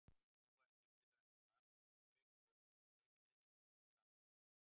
Nú varstu í viðræðum við Val og Keflavík, voru fleiri lið sem höfðu samband?